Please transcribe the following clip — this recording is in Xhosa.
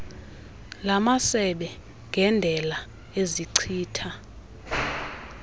lamasebe ngendela ezichitha